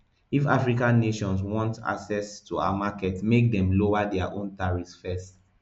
if african nations want access to our markets make dem lower dia own tariffs first